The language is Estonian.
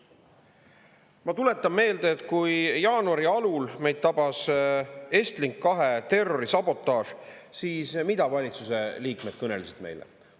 Ma tuletan meelde, et kui jaanuari alul meid tabas Estlink 2 terrorisabotaaži, siis mida valitsuse liikmed kõnelesid meile.